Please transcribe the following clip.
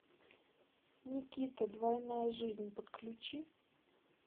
никита двойная жизнь подключи